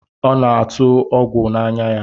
Ọ na-atụ ọgwụ n'anya